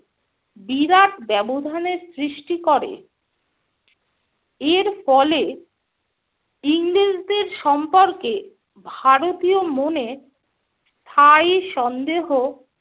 বিরাট ব্যবধানের সৃষ্টি করে। এর ফলে ইংরেজদের সম্পর্কে ভারতীয় মনে স্থায়ী সন্দেহ